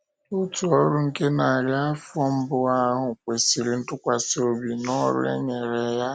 Òtù ọ́rụ nke narị afọ mbụ ahụ kwesịrị ntụkwasị obi n’ọrụ e nyere ya.